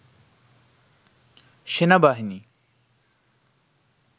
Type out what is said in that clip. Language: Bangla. সেনাবাহিনী